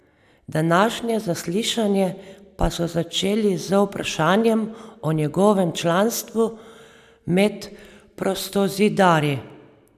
Današnje zaslišanje pa so začeli z vprašanjem o njegovem članstvu med prostozidarji.